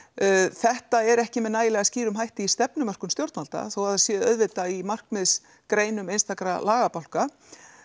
þetta er ekki með nægilega skýrum hætti í stefnumörkun stjórnvalda þó það sé auðvitað í markmiðs greinum einstakra lagabálka